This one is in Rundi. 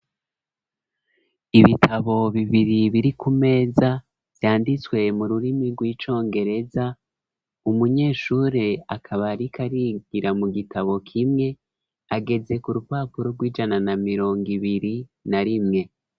Ibitabo bibiri, biri ku meza, vyanditswe mu rurimi, rw'icongereza; umunyeshure akaba, ariko arigira, mu gitabo kimwe, ageze ku rupapuro, rw’ijana na mirongo ibiri na rimwe.